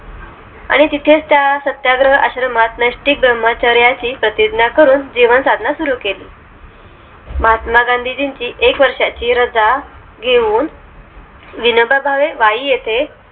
आणि तितेच त्या सत्याग्रह आश्रमात नेस्टीक ब्राह्मचर्याची प्रतिज्ञा करून जीवन साधना सुरु केली महात्मा गांधीजींची एक वर्षाची रजा घेणून